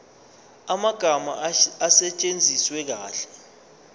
amagama asetshenziswe kahle